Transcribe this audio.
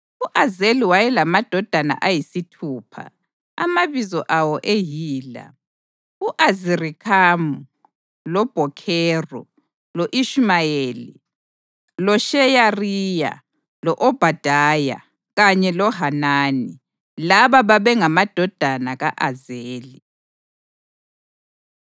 U-Azeli wayelamadodana ayisithupha, amabizo awo eyila: u-Azirikhamu, loBhokheru, lo-Ishumayeli. LoSheyariya, lo-Obhadaya kanye loHanani. Laba babengamadodana ka-Azeli.